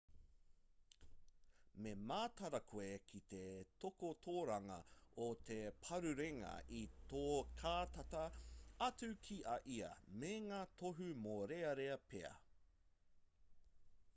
me mataara koe ki te takotoranga o te parurenga i tō kātata atu ki a ia me ngā tohu mōrearea pea